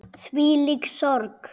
Þvílík sorg.